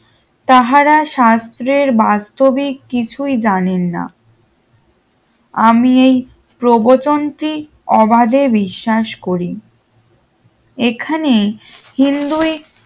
তাহারা শাস্ত্রের বাস্তবি কিছুই জানেন নাই আমি এই প্রবচনটি অবাদে বিশ্বাস করি এখানে হিন্দুই